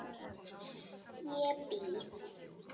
Ég býð!